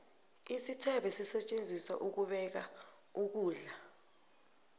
isithebe sisetjenziselwa ukubeka ukulda